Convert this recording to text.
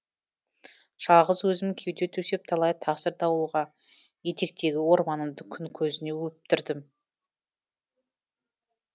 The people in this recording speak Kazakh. жалғыз өзім кеуде төсеп талай тасыр дауылға етектегі орманымды күн көзіне өптірдім